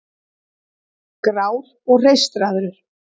Grár og hreistraður.